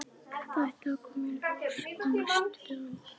Þetta ætti að koma í ljós á næstu dögum.